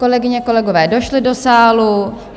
Kolegyně, kolegové došli do sálu.